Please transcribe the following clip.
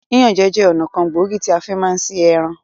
Yíyan jẹ́ ọ̀nà kan gbòógì tí a fi máa ń ṣe ẹran